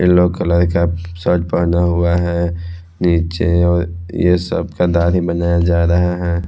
Yellow colour का shirt पहना हुआ है नीचे और ये सब का दाढ़ी बनाया जा रहा है।